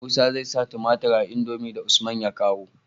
Musa zai sa tumatir a indomie da usman ya kawo